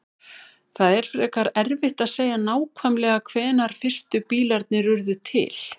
Það er frekar erfitt að segja nákvæmlega hvenær fyrstu bílarnir urðu til.